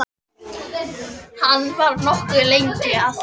Hann var nokkuð lengi að því.